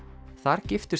þar giftust